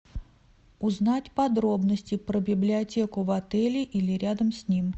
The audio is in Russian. узнать подробности про библиотеку в отеле или рядом с ним